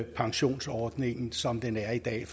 pensionsordningen som den er i dag